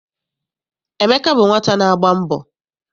Emeka bụ nwata na-agba mbọ.